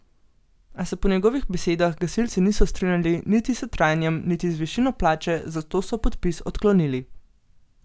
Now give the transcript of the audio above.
A se po njegovih besedah gasilci niso strinjali niti s trajanjem niti z višino plače, zato so podpis odklonili.